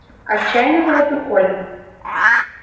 отчаянно завопил колин